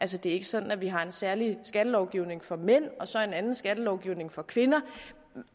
det er ikke sådan at vi har en særlig skattelovgivning for mænd og så en anden skattelovgivning for kvinder